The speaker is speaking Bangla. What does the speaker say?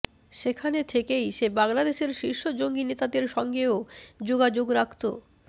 সেখানে থেকেই সে বাংলাদেশের শীর্ষ জঙ্গি নেতাদের সঙ্গেও যোগাযোগ রাখতো